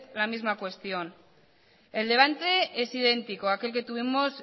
la misma cuestión el debate es idéntico a aquel que tuvimos